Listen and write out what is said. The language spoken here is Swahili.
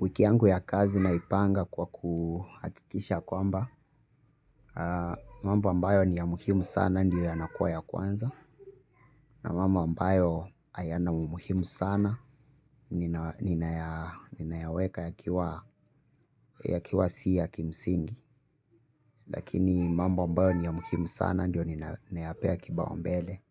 Wikiangu ya kazi naipanga kwa kuhakikisha kwamba mambo ambayo ni ya muhimu sana ndiyo yanakuwa ya kwanza na mambo ambayo ayana umuhimu sana. Ninayaweka yakiwa si ya kimsingi. Lakini mambo ambayo ni ya muhimu sana ndiyo ninayapea kibao mbele.